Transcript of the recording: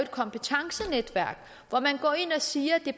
kompetencenetværk hvor man går ind og siger at